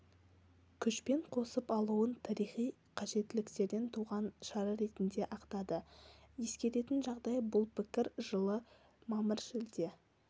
күшпен қосып алуын тарихи қажеттіліктен туған шара ретінде ақтады ескеретін жағдай бұл пікір жылы мамыр-шілде